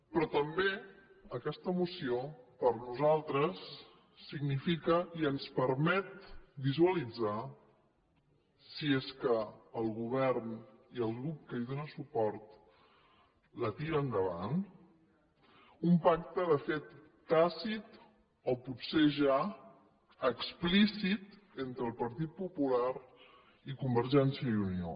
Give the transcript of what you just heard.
però també aquesta moció per nosaltres significa i ens permet visualitzar si és que el govern i el grup que hi dóna suport la tiren endavant un pacte de fet tàcit o potser ja explícit entre el partit popular i convergència i unió